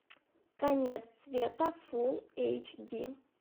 конец света фулл эйч ди